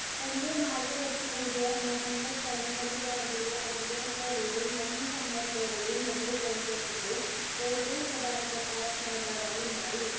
തന്റെ മാർഗദർശി കൂടിയായ മോഹൻദാസ് കരംചന്ദ് ഗാന്ധിയുടെ അനുചനത്തോടെയും മൗനം സമ്മദത്തോടെയും നെഹ്‌റു congress ന്റെ ഏറ്റവും പ്രധാനപ്പെട്ട യ നേതാവായി മാറി.